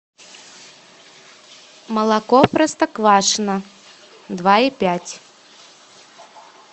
молоко простоквашино два и пять